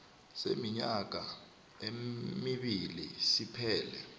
seminyaka emibili siphele